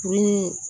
Ni